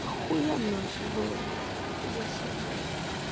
ахуенно было бы если бы